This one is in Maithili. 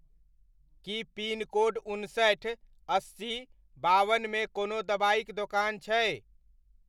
की पिनकोड उनसठि, अस्सी, बावनमे कोनो दबाइक दोकान छै?